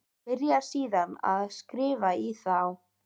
Byrjar síðan að skrifa í þá.